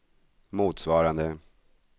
motsvarande